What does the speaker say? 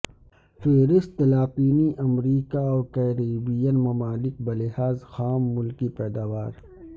فہرست لاطینی امریکہ اور کیریبین ممالک بلحاظ خام ملکی پیداوار